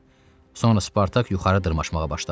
Sonra Spartak yuxarı dırmaşmağa başladı.